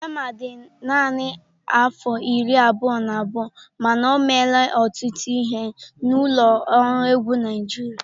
Rema dị naanị afọ iri abụọ na abụọ, mana o meela ọtụtụ ihe na ụlọ ọrụ egwu Naịjirịa.